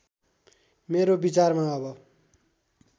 मेरो विचारमा अब